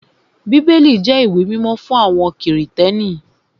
Bíbélì jẹ́ ìwé mímọ́ fún àwọn Krìstẹ́nì